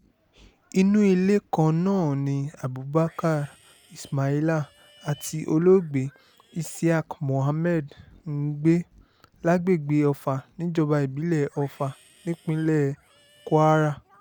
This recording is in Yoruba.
inú ilé kan náà ni abubakar ismaila àti olóògbé isiaq muhammad ń gbé lágbègbè ofa níjọba ìbílẹ̀ ọfà nípínlẹ̀ kwara